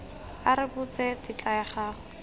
a rebotse tetla ya go